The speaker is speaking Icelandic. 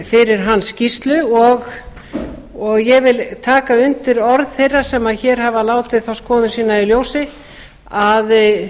fyrir hans skýrslu og ég vil taka undir orð þeirra sem hér hafa látið þá skoðun sína í ljósi að